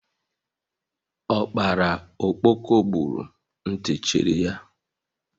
Ọkpara ọkpọko gburu, ntị cherị ya